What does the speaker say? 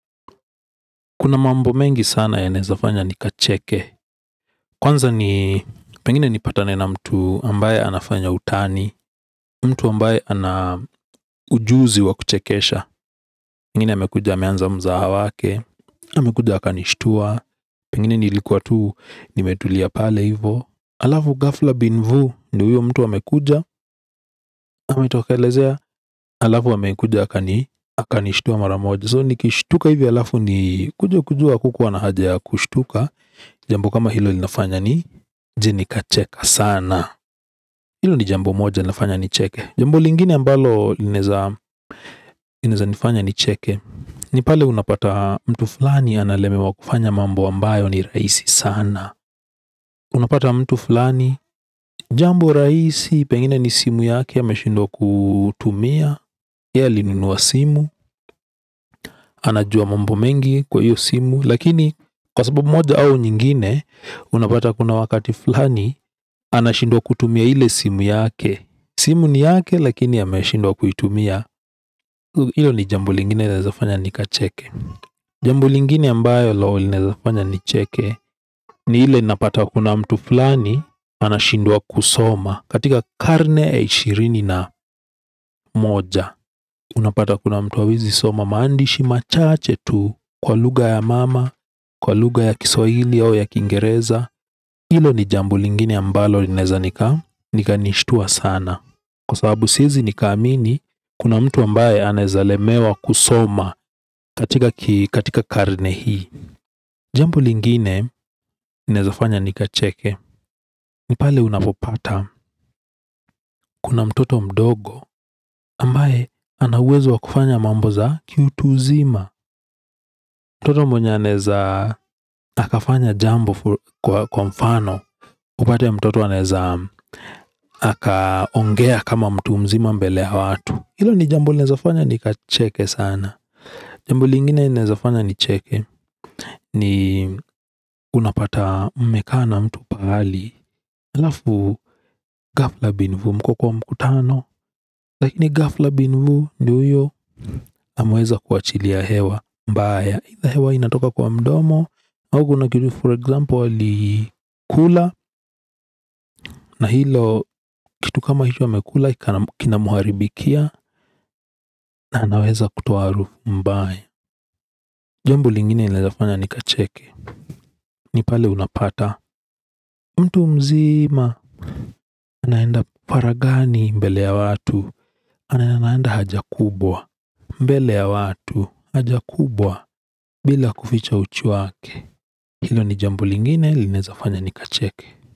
Kuna mambo mengi sana yanaweza fanya ni kacheke kwanza ni pengine nipatane na mtu ambaye anafanya utani mtu ambaye anaujuzi wa kuchekesha. Pengine amekuja ameanza mzaha wake. Amekuja akanishtua pengine nilikuwa tu nimetulia pale hivo alafu ghafla bin vu ndio huyo mtu amekuja ametokelezea alafu amekuja akanishtua mara moja so ni kishtuka hivi alafu nikuje kujua hakukuwa na haja ya kushtuka. Jambo kama hilo linafanya nije nikacheka sana. Hilo ni jambo moja linafanya ni cheke jambo lingine ambalo linaweza nifanya nicheke. Ni pale unapata mtu fulani analemewa kufanya mambo ambayo ni rahisi sana. Unapata mtu fulani jambo rahisi pengine ni simu yake ya ameshindwa kutumia yeye alinunua simu, anajua mambo mengi kwa hiyo simu lakini kwa sababu moja au nyingine. Unapata kuna wakati fulani. Anashindwa kutumia ile simu yake. Simu ni yake lakini ameshindwa kuitumia. Hilo ni jambo lingine laweza fanya ni kacheke. Jambo lingine ambalo linaweza fanya nicheke. Ni ile napata kuna mtu fulani anashindwa kusoma katika karne ya ishirini na moja. Unapata kuna mtu hawezi soma maandishi machache tu kwa lugha ya mama, kwa lugha ya kiswahili au ya kingereza hilo ni jambo lingine ambalo linaweza nika nika nishitua sana kwa sababu siwezi nikaamini kuna mtu ambaye anaweza lemewa kusoma. Katika karne hii. Jambo lingine linaweza fanya nikacheke ni pale unapopata. Kuna mtoto mdogo ambaye ana uwezo wa kufanya mambo za ki utu uzima. Mtoto mwenye anaweza fanya jambo kwa mfano upate mtoto anezaka ongea kama mtu mzima mbele ya watu hilo ni jambo linaweza fanya ni kacheke sana. Jambo lingine linaweza fanya ni cheke ni unapata mmekaa na mtu pahali alafu ghafla bin vu mko kwa mkutano. Lakini ghafla bin vu ndio huyo ameweza kuachilia hewa mbaya either hewa inatoka kwa mdomo. Au na kitu for example alikula. Na hilo kitu kama hicho amekula. Kina mharibikia. Na anaweza kutoa harufu mbaya. Jambo lingine linaweza fanya ni kacheke ni pale unapata mtu mzima. Anaenda faraghani mbele ya watu anaenda haja kubwa mbele ya watu haja kubwa bila kuficha uchi wake hilo ni jambo lingine linaweza fanya ni kacheke.